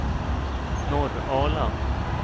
Norrala